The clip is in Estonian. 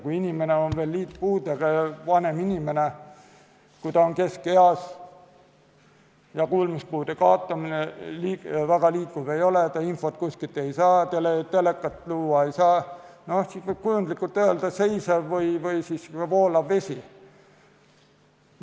Kui inimene on veel liitpuudega ja vanem inimene, kui ta on keskeas ja kuulmise kaotab, ta väga liikuv ei ole, ta infot kuskilt ei saa, telekat vaadata ei saa, siis võib kujundlikult öelda, et see on nagu seisev ja voolav vesi.